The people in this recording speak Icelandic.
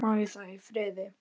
Má ég það í friði?